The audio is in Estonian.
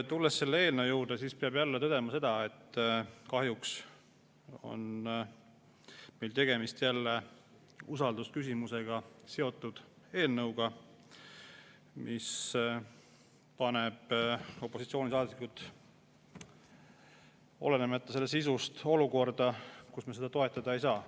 Tulles selle eelnõu juurde, peab tõdema, et kahjuks on meil tegemist jälle usaldusküsimusega seotud eelnõuga, mis paneb opositsioonisaadikud olenemata selle sisust olukorda, kus me seda toetada ei saa.